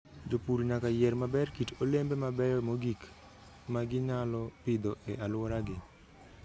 Jopur nyaka yier maber kit olembe mabeyo mogik ma ginyalo pidho e alworagi.